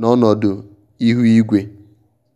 n'ọnọdụ ihu igwe.